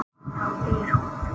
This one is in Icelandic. Þá deyr hún.